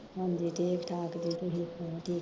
ਹੰਜੀ ਠੀਕ ਠਾਕ ਜੇ ਤੁਸੀਂ ਸੁਣਾਓ, ਠੀਕ